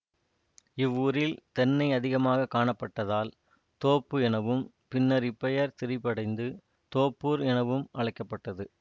இவ்வூரில் தென்னை அதிகமாக காணப்பட்டதால் தோப்பு எனவும் பின்னர் இப்பெயர் திரிபடைந்து தோப்பூர் எனவும் அழைக்க பட்டது